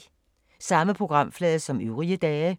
Samme programflade som øvrige dage